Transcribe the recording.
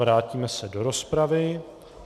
Vrátíme se do rozpravy.